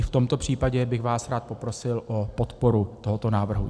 I v tomto případě bych vás rád poprosil o podporu tohoto návrhu.